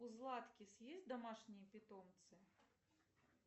у златкис есть домашние питомцы